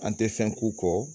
An tɛ fɛn k'u kɔ